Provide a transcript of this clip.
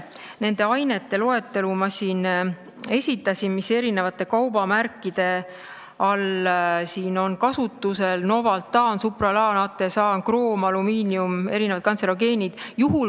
Nende ainete loetelu, mis eri kaubamärkide puhul on kasutusel, ma esitasin: kroom, alumiinium, erinevad kantserogeenid.